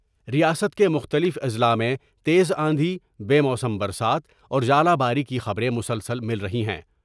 ریاست کے مختلف اضلاع میں تیز آندھی بے موسم برسات اور ژالہ باری کی خبریں مسلسل مل رہی ہیں ۔